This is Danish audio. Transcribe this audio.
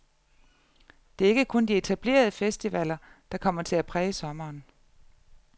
Det er ikke kun de etablerede festivaler, der kommer til at præge sommeren.